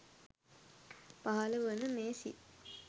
පහළ වන මේ සිත්